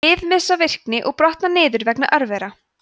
lyf missa virkni og brotna niður vegna örvera